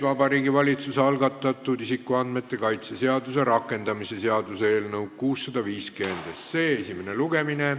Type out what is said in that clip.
Vabariigi Valitsuse algatatud isikuandmete kaitse seaduse rakendamise seaduse eelnõu 650 esimene lugemine.